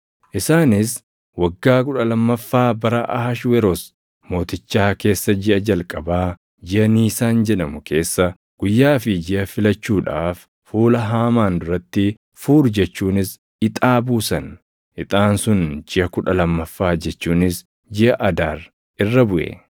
Isaanis waggaa kudha lammaffaa bara Ahashweroos Mootichaa keessa jiʼa jalqabaa jiʼa Niisaan jedhamu keessa guyyaa fi jiʼa filachuudhaaf fuula Haamaan duratti Fuur jechuunis ixaa buusan. Ixaan sun jiʼa kudha lammaffaa jechuunis jiʼa Adaar irra buʼe.